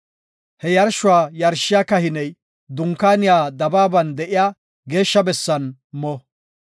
He yarshuwa yarshiya kahiney Dunkaaniya dabaaban de7iya geeshsha bessan mo.